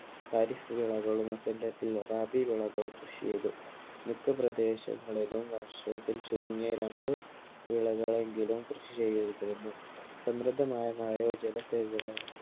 തരിശു വിളകളും വസന്തത്തിൽ വാലാബി വിളകളും കൃഷി ചെയ്തു മിക്ക പ്രദേശങ്ങളിലും വർഷത്തിൽ ചുരുങ്ങിയ രണ്ട് വിളകളെങ്കിലും കൃഷി ചെയ്തിരുന്നു. സമൃദമായ മഴയോ ജലസേചന